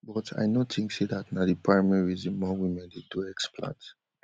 but i no tink say dat na di primary reason more women dey do explant